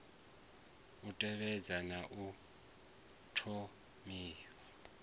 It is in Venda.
u tevhedza na u thonifha